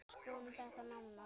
Skoðum þetta nánar